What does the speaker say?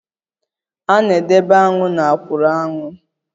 A na-edebe aṅụ na akwuru aṅu